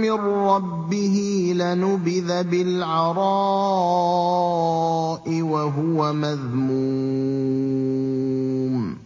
مِّن رَّبِّهِ لَنُبِذَ بِالْعَرَاءِ وَهُوَ مَذْمُومٌ